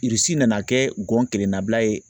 nana kɛ gɔn kelen na bila ye